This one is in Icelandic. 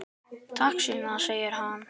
Takk, Sunna, sagði hann.